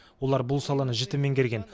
олар бұл саланы жіті меңгерген